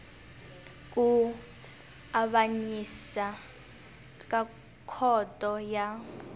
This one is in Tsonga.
ku avanyisa ka khoto ya